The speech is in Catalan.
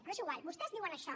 però és igual vostès diuen això